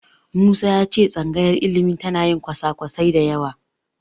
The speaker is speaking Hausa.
Musa ya ce tsangayar ilimi tana yin kwasa-kwasai da yawa.